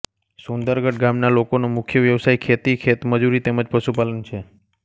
સુંદરગઢ ગામના લોકોનો મુખ્ય વ્યવસાય ખેતી ખેતમજૂરી તેમ જ પશુપાલન છે